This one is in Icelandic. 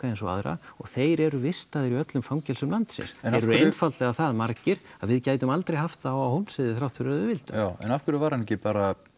eins og aðra og þeir eru vistaðir í öllum fangelsum landsins þeir eru einfaldlega það margir að við gætum aldrei haft þá alla á Hólmsheiði þótt við vildum já en af hverju var hann ekki bara